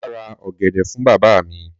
Mà á ra ọ̀gẹ̀dẹ̀ fún bàbá mi.